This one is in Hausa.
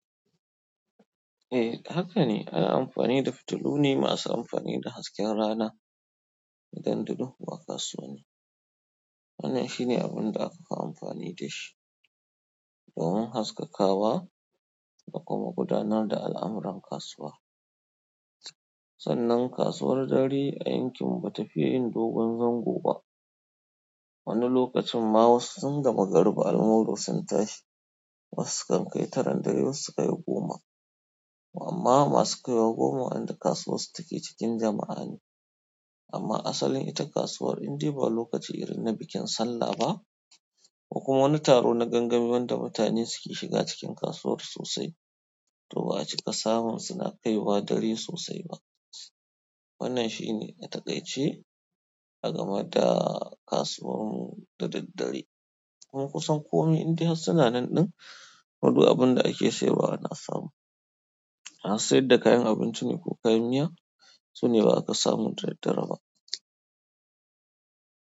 Eh haka ne ana amfani da fitilu ne masu amfani da hasken rana da ganduɗu wa kasuwanni. Wannan shine abin da aka fi amfani da shi domin haskaka wa da kuma gudanar da al'amuran kasuwa. Sanan kasuwar dare a yankin mu bata fiye yin dogon zango ba. Wani lokacin ma wasu tun da magariba almuru sun tashi, wasu sukan kai taran dare wasu su kai goma. Amma masu kaiwa goma wayanda kasuwan su take cikin jama'a, amma asalin ita kasuwan indai ba lokacin irin na bikin salla ba, ko kuma wani taro na gangami wanda mutane suke shiga cikin kasuwar sosai. To ba'a cika samun suna kaiwa dare sosai ba. Wannan shine atakai ce a game da kasuwar mu da daddare. Kuma kusan komai indai har sunanan ɗin to duk abin da ake sayarwa ana samu. Masu sayar da kayan abinci ne ko kayan miya sune za ka samu da daddare ba.